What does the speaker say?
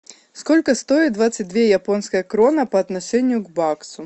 сколько стоит двадцать две японской кроны по отношению к баксу